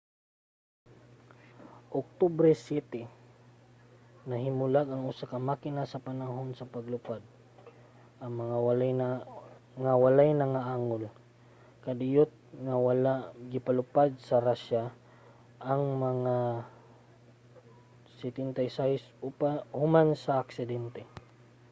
sa oktubre 7 nahimulag ang usa ka makina sa panahon sa paglupad nga walay nangaangol. kadiyot nga wala gipalupad sa russia ang mga il-76 human sa aksidente